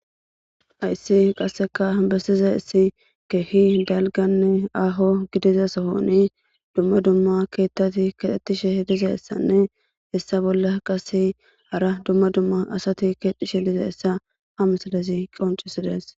ayssi qasseka bessiza issi kehi galganne aaho gidiza sohoni dumma dumma keettati kaxettishe dizessanne issa bolla qase hara dumma dumma asati keetishe lize issa ha misalesi qoncisides